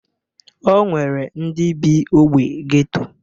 O nwere ndị bị ogbe geto.